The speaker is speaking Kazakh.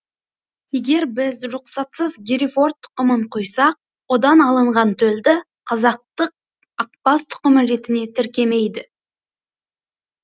егер біз рұқсатсыз герефорд тұқымын құйсақ одан алынған төлді қазақтық ақбас тұқымы ретіне тіркемейді